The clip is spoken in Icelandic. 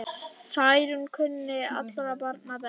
Særún kunni allra barna best.